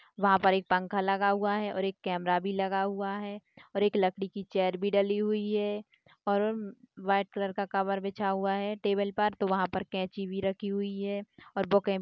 वहाँ पर एक पंखा लगा हुआ है और एक कैमरा भी लगा हुआ है और एक लकड़ी की चेयर भी डली हुई है और व्हाइट कलर का कवर बिछा हुआ है टेबल पर तो वहाँ पर कैंची भी रखी हुई है और बुके भी--